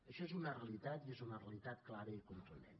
això és una realitat i és una realitat clara i contundent